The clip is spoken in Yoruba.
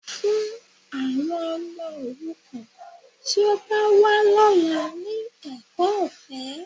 Fún àwọn ọmọ òrukàn tí ó bá wá lọ́la ní ẹ̀kọ́ ọ̀fẹ́